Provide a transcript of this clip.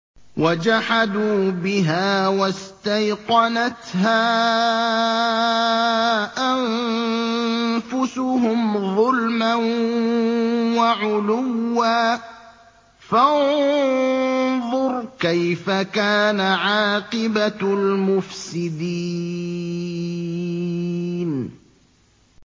وَجَحَدُوا بِهَا وَاسْتَيْقَنَتْهَا أَنفُسُهُمْ ظُلْمًا وَعُلُوًّا ۚ فَانظُرْ كَيْفَ كَانَ عَاقِبَةُ الْمُفْسِدِينَ